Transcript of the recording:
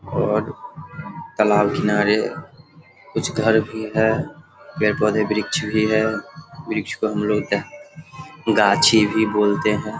और तालाब किनारे कुछ घर भी है । पेड़ पौधे वृक्ष भी है । वृक्ष को हम लोग गाछी भी बोलते है।